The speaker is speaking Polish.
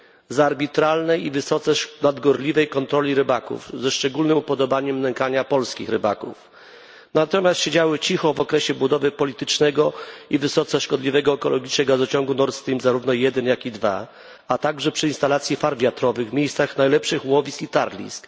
Z arbitralnej i wysoce nadgorliwej kontroli rybaków i szczególnego upodobania do nękania polskich rybaków. Natomiast agencje te siedziały cicho w okresie budowy politycznego i wysoce szkodliwego ekologicznie gazociągu Nord Stream, zarówno 1 jak i 2, a także podczas instalacji farm wiatrowych w miejscach najlepszych łowisk i tarlisk.